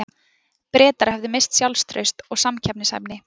Bretar höfðu misst sjálfstraust og samkeppnishæfni.